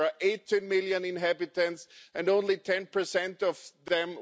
There are 18 million inhabitants, and only 10 of them,